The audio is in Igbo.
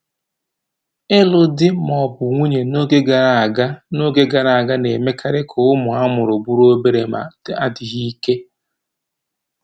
Ịlụ di ma ọ bụ nwunye n'oge gara aga n'oge gara aga na-emekarị ka ụmụ a mụrụ bụrụ obere ma dịghị ike.